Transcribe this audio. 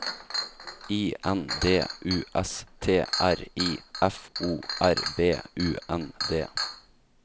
I N D U S T R I F O R B U N D